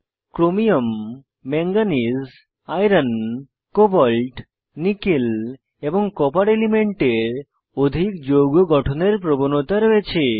chromium manganese iron cobalt nickel এবং copper এলিমেন্টের অধিক যৌগ গঠনের প্রবণতা রয়েছে